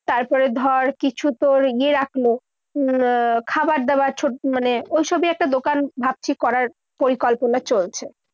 তারপরে ধর কিছু তোর ইয়ে রাখলো। আহ খাবার দাবার। মানে ওইসবই একটা দোকান ভাবছি করার পরিকল্পনা চলছে।